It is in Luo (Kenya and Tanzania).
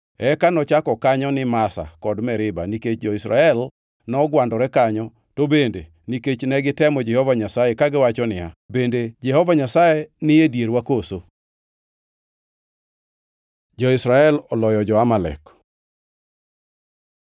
Eka nochako kanyo ni Masa kod Meriba nikech jo-Israel nogwandore kanyo to bende nikech ne gitemo Jehova Nyasaye kagiwacho niya, “Bende Jehova Nyasaye ni e dierwa koso?” Jo-Israel oloyo jo-Amalek